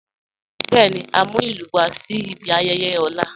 Bẹẹni, à n mú ilù wà sí ìbí ayẹyẹ ọ̀la.